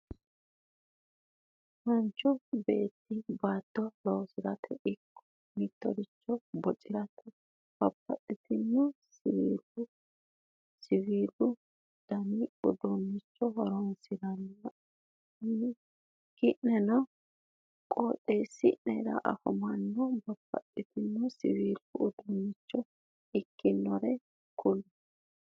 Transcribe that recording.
Manchu beetti baatto losirate ikko mitore bocirate babbaxino siwiilu dani uduunnicho horonsiranno ki'neno qooxeesi'nera afamannore babbaxino siwilu uduunnicho ikkinnore kulle?